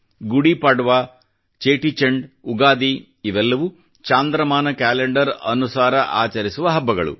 ಗುಡಿ ಪಾಡ್ವಾ ಚೇಟಿಚಂಡ್ ಉಗಾದಿ ಇವೆಲ್ಲವೂ ಚಾಂದ್ರಮಾನ ಕ್ಯಾಲೆಂಡರ್ ಅನುಸಾರ ಆಚರಿಸುವ ಹಬ್ಬಗಳು